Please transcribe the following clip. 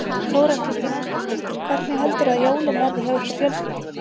Þóra Kristín Ásgeirsdóttir: Hvernig heldurðu að jólin verði hjá ykkur fjölskyldunni?